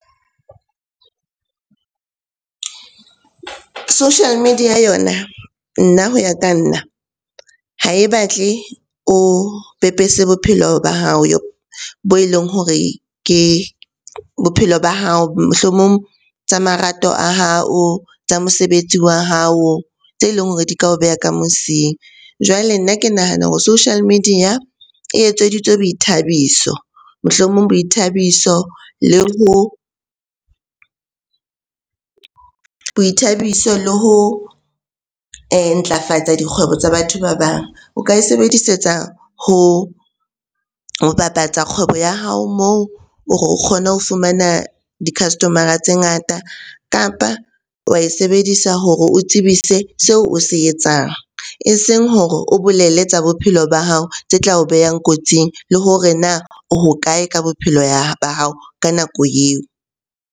Social media yona, nna hoya ka nna. Ha e batle o pepese bophelo ba hao bo e leng hore ke bophelo ba hao, mohlomong tsa marato a hao, tsa mosebetsi wa hao, tse leng hore di ka o beha ka mosing. Jwale nna ke nahana hore social media e etseditswe boithabiso. Mohlomong boithabiso le ho, boithabiso le ho ntlafatsa dikgwebo tsa batho ba bang. O ka e sebedisetsa ho bapatsa kgwebo ya hao moo hore o kgone ho fumana di-customer-ra tse ngata, kapa wa e sebedisa hore o tsebise seo o se etsang. Eseng hore o bolelle tsa bophelo ba hao tse tla o behang kotsing le hore na o hokae ka bophelo ba hao ka nako eo?